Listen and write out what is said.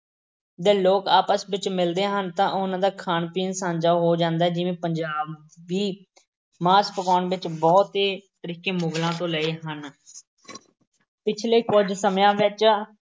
ਦੇ ਲੋਕ ਆਪਸ ਵਿੱਚ ਮਿਲਦੇ ਹਨ ਤਾਂ ਉਹਨਾਂ ਦਾ ਖਾਣ-ਪੀਣ ਸਾਂਝਾ ਹੋ ਜਾਂਦਾ ਹੈ ਜਿਵੇਂ ਪੰਜਾਬ ਵੀ ਮਾਸ ਪਕਾਉਣ ਦੇ ਬਹੁਤੇ ਤਰੀਕੇ ਮੁਗ਼ਲਾਂ ਤੋਂ ਲਏ ਹਨ। ਪਿਛਲੇ ਕੁੱਝ ਸਮਿਆਂ ਵਿੱਚ